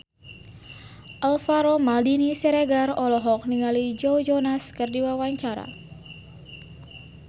Alvaro Maldini Siregar olohok ningali Joe Jonas keur diwawancara